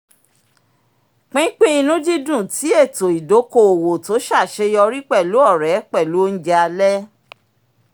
pínpín ìnùdídùn ti ètò ìdoko-owo tó ṣàṣeyọrí pẹ̀lú ọ̀rẹ́ pẹ̀lú ounjẹ alẹ́